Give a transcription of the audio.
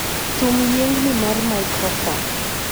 thum yiengni mar maikrofon